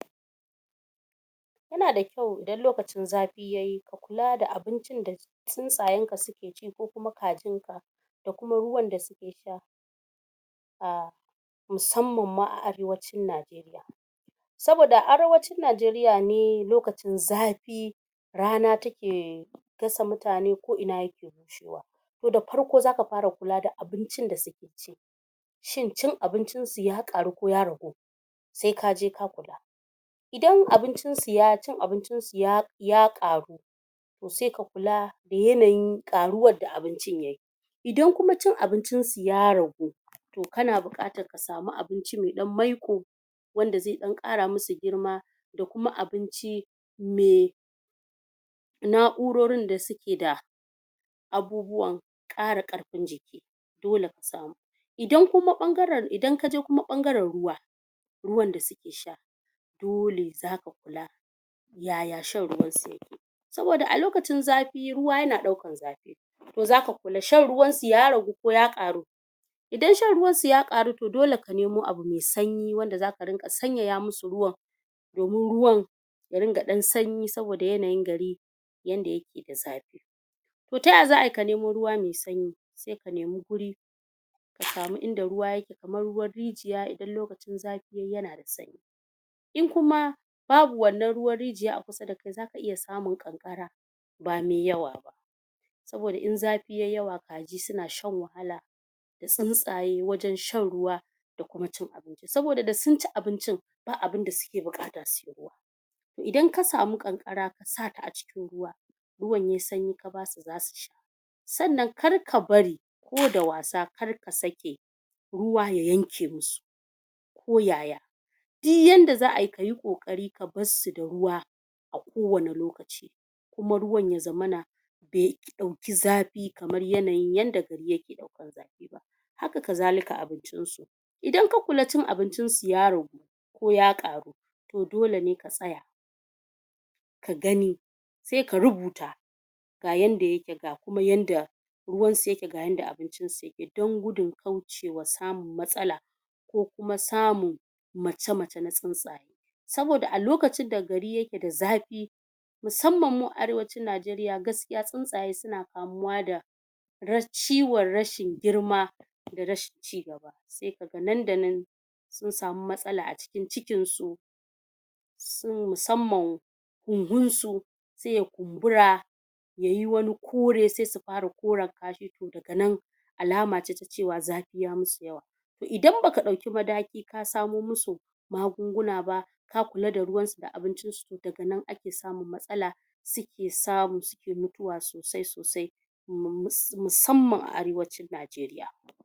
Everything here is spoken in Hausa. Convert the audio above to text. yana da kyau idan lokacin zafi yayi ka kula da abincin da tsuntsa yanka suke ci ko kuma kajinka da ruwan da suke sha a musamman ma a arewacin najeriya saboda a arewacin najeriya ne lokacin zafi rana take gasa mutane ko ina yake bushewa da farko zaka fara kula da abincin da sukeci shin cin abincinsu ya ƙaru koya ragu sai kaje ka kula idan cin abincinsu ya ƙaru to sai ka kula da yanayin ƙaruwar da abincin yayi idan kuma cin abincin su ya ragu to kana buƙatar ka samu abinci me ɗan maiko da za ɗan ƙara musu girma da kuma abinci me na'urorin da suke da abubuwan ƙara karfin jiki idan kaje kuma ɓangaran ruwa ruwan da suke sha dole zaka faɗa ya shan ruwansu yake saboda a lokacin zafi ruwa yana ɗaukan zafi to zaka kula shan ruwansu yaragu ko ya ƙaru idan shan ruwansu ya ƙaru to dole ka nemu abu me sanyi wanda zaka rinka sanyaya musu ruwan domin ruwan ya ringa ɗan sanyi saboda yanayin gari yanda yake da zafi taya za ai ka nemo ruwa me sanyi sai ka neme guri kasamu inda ruwa yake kamar ruwan rijiya idan lokacin zafi yayi yana sanya in kuma babu wannan ruwan rijiya a kusa da ku zaka iya samun ƙanƙara ba me yawa ba saboda in zafi yayi yawa kaji suna shan wahala da tsuntsaye wajan shanruwa da kuma cin abinci saboda da sunci abincin ba abunda suke buƙata sai ruwa idan kasamu ƙanƙara kasa ta a cikin ruwa ruwan yayi sanyi ka basu zasu sha sannan karka bari ko dawasa karka saƙe ruwa ya yanke musu ko yaya di yanda za ai kayi ƙoƙari ka baesu da ruwa a kowanne lokaci kuma ruwa ya zaman be ɗauki zafi ba kamar yanayin yanda gari yake haka ka zalika abincinsu idan ka kula cin abincin su ya ragu koya ƙaru to dole ne ka tsaya kagani sai ka rubuta ga yanda yake ga kuma yanda ruwansu yake ya yanda abincin su yake dan gudun kaucewa samun matsala ko kuma samu macemacan tsuntsaye saboda a lokacin da gari yake da zafi musamman mu a arewacin najeriya gaskiya tsuntsaye suna kamu da ciwan rashin girma da rashin ci sai kaga nan da nan sun samu matsala a cikin cikinsu musamman hunhunsu sai ya kunbura yayi wani kore saisu fara koran kashi to daga nan alama ce ta cewa zafi ya musu yawa to idan baka ɗauki mataki ka samu musu magunguna ba ka kula da ruwansu da abincin su to daga nan ake samun matsala suke samu suke mutuwa sosai sosai musamman a arewacin najeriya